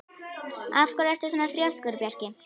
Af hverju ertu svona þrjóskur, Bjarki?